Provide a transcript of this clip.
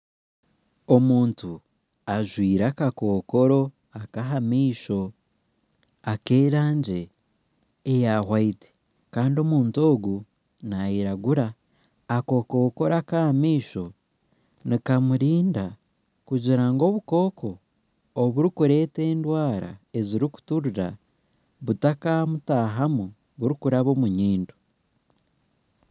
Omuntu ajwaire akakokoro akaha maisho ak'erangi eya erikwera Kandi omuntu ogu nayiragura akakokoro akahamaisho nikamurinda kugira ngu obukooko oburikureetwa endwara ezirikuturira butakamutahamu burikuraba omunyindo